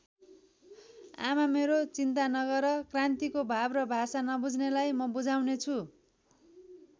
आमा मेरो चिन्ता नगर क्रान्तिको भाव र भाषा नबुझ्नेलाई म बुझाउनेछु।